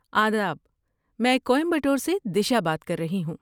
آداب! میں کوئمبٹور سے دیشا بات کر رہی ہوں۔